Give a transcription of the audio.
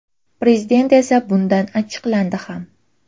Prezident esa bundan achchiqlandi ham.